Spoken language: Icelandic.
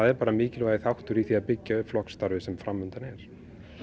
er bara mikilvægur þáttur í því að byggja upp flokksstarfið sem fram undan er